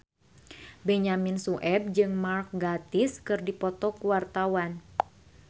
Benyamin Sueb jeung Mark Gatiss keur dipoto ku wartawan